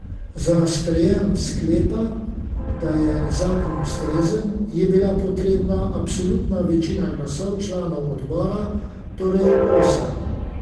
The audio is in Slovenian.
Za sprejem sklepa, da je zakon ustrezen, je bila potrebna absolutna večina glasov članov odbora, torej osem.